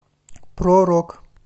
про рок